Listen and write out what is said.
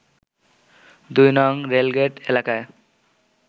২ নং রেলগেইট এলাকায়